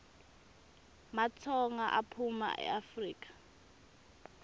matsonga aphuma eafrika